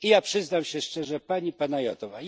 I ja przyznam się szczerze, Pani Panayotova.